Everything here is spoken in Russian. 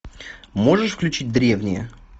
можешь включить древние